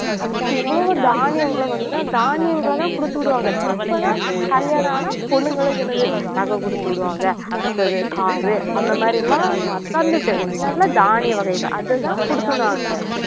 இவ்வளவு தானியங்களும் வந்துதான் தானியங்களைதான் கொடுத்துவிடுவாங்க இப்பதான் கல்யாணம் ஆனா பொண்ணுங்களுக்கு என்னது நகை கொடுத்து விடுவாங்க அடுத்தது car அந்த மாதிரி எல்லாம் முன்னாடிலாம் தானிய வகைகள் அதுதான் கொடுத்துவிடுவாங்க